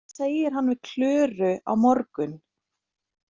Hvað segir hann við Klöru á morgun?